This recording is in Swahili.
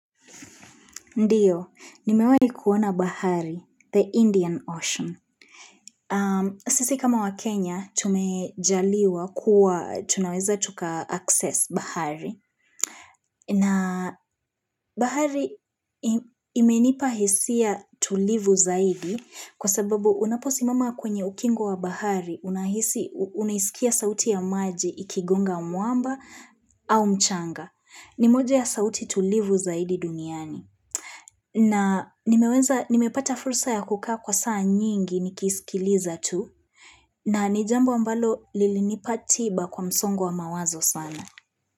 Ndiyo, nimewahi kuona bahari, the Indian Ocean. Sisi kama wa Kenya, tumejaliwa kuwa tunaweza tuka access bahari. Na bahari imenipahisia tulivu zaidi kwa sababu unaposimama kwenye ukingo wa bahari, unahisi, unahisikia sauti ya maji ikigonga mwamba au mchanga. Nimoja ya sauti tulivu zaidi duniani. Na nimeweza, nimepata fursa ya kukaa kwa saa nyingi nikisikiliza tu, na nijambo ambalo lilinipa tiba kwa msongo wa mawazo sana.